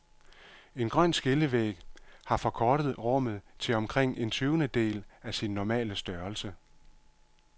En grøn skillevæg har forkortet rummet til omkring en tyvendedel af sin normale størrelse.